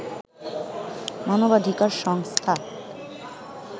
মানবাধিকার সংস্থা